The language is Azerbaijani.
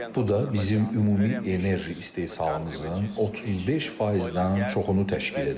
Bu da bizim ümumi enerji istehsalımızın 35%-dən çoxunu təşkil edəcək.